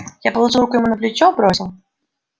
я положил руку ему на плечо бросил